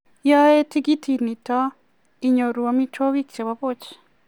yae tikitit nitok inyoru amitwogik chebo buch